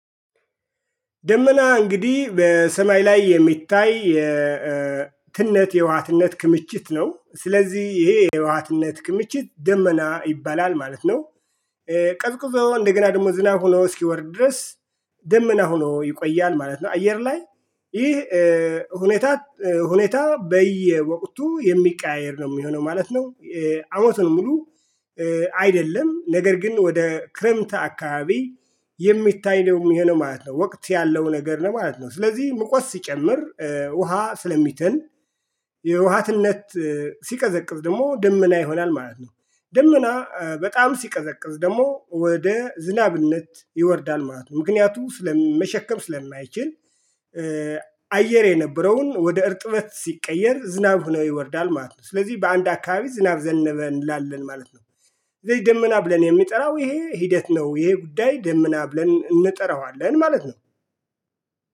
ደመና እንግዲህ በሰማይ ላይ የሚታይ ትነት የውሃ ትነት ክምችት ነው ስለዚህ ይሄ የውሃ ትነት ክምችት ደመና ይባላል ማለት ነው። ቀዝቅዞ እንደገና ደግሞ ዝናብ ሆኖ እስኪወርድ ድረስ ደመና ሆኖ ይቆያል ማለት ነው። አየር ላይ ይህ ሁኔታ ሁኔታ በየወቅቱ የሚቀያየር ነው የሚሆነው ማለት ነው። አሞቱን ሙሉ አይደለም ነገር ግን ወደ ክረምት አካባቢ የሚታይ ነው የሚሆነው ማለት ነው። ወቅት ያለው ነገር ነው ማለት ነው። ስለዚህ ሙቀት ሲጨምር ውሃ ስለሚተን የውሃትነት ሲቀዘቅዝ ደግሞ ደመና ይሆናል ማለት ነው። ደመና በጣም ሲቀዘቅዝ ደግሞ ወደ ዝናብነት ይወርዳል ማለት ነው። ምክንያቱም መሸከም ስለማይችል። አየር የነበረውን ወደ እርጥበት ሲቀየር ዝናብ ሆኖ ይወርዳል ማለት ነው። ስለዚህ በአንድ አካባቢ ዝናብ ዘነበ እንላለን ማለት ነው። ደመና ብለን የምንጠራው ይሄ ሂደት ነው ይሄ ጉዳይ ደመና ብለን እንጠራዋለን ማለት ነው።